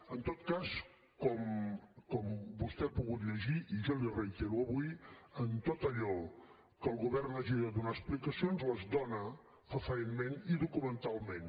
en tot cas com vostè ha pogut llegir i jo li reitero avui en tot allò que el govern hagi de donar explicacions les dóna fefaentment i documentalment